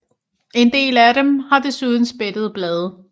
En hel dem af dem har desuden spættede blade